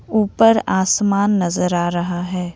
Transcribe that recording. ऊपर आसमान नजर आ रहा है।